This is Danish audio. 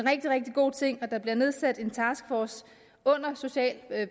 rigtig god ting og der bliver nedsat en taskforce under social